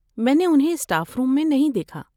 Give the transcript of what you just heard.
میں نے انہیں اسٹاف روم میں نہیں دیکھا۔